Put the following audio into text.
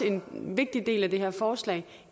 en vigtig del af det her forslag